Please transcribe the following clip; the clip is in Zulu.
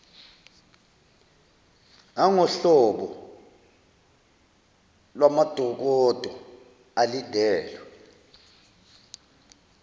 nangohlobo lwamadokodo alindelwe